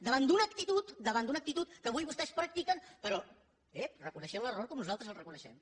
davant d’una actitud davant d’una actitud que avui vostès practiquen però ep reconeixent l’error com nosaltres el reconeixem